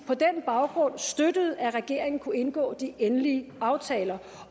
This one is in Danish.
på den baggrund støttede at regeringen kunne indgå de endelige aftaler